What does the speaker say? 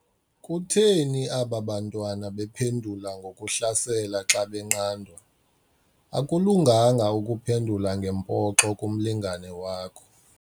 Kutheni aba bantwana bephendula ngokuhlasela xca benqandwa? akulunganga ukuphendula ngempoxo kumlingane wakho